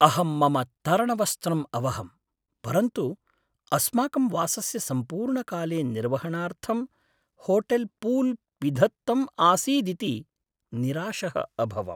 अहं मम तरणवस्त्रं अवहम्, परन्तु अस्माकं वासस्य सम्पूर्णकाले निर्वहणार्थं होटेल् पूल् पिधत्तम् आसीदिति निराशः अभवम्।